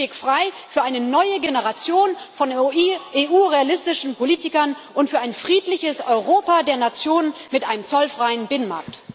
Machen Sie den Weg frei für eine neue Generation von EU realistischen Politikern und für ein friedliches Europa der Nationen mit einem zollfreien Binnenmarkt!